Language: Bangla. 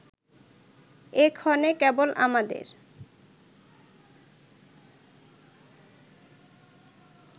এক্ষণে কেবল আমাদের